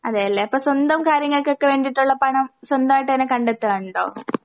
അതെയല്ലേ അപ്പസ്വന്തം കാര്യങ്ങൾക്കൊക്കെവേണ്ടിട്ടുള്ള പണം സ്വന്തായിട്ടന്നെ കണ്ടെത്താൺണ്ടോ ?